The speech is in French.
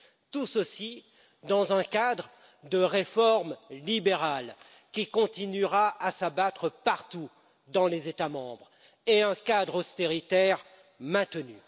Tout cela se fait dans un cadre de réformes libérales qui continuera à s'abattre partout dans les États membres et dans un cadre austéritaire qui est maintenu.